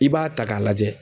I b'a ta k'a lajɛ